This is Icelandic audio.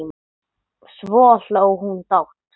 Svo hló hún dátt.